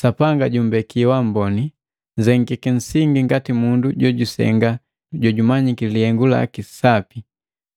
Sapanga jumbeki wamboni, nzengiki nsingi ngati mundu jojusenga jojumanyiki lihengu laki sapi,